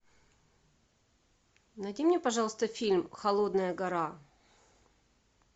найди мне пожалуйста фильм холодная гора